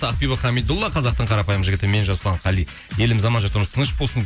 ақбибі хамидолла қазақтың қарапайым жігіті мен жасұлан қали еліміз аман жұртымыз тыныш болсын